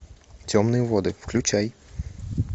темные воды включай